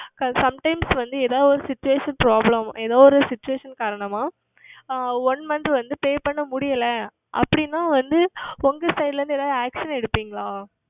Sometimes வந்து எதாவது ஓர் Situation Problem எதாவது Situation காரணமாக One Month வந்து Pay செய்வது முடியவில்லை அப்படி என்றால் உங்கள் Side ல இருந்து எதாவது Action எடுப்பீர்களா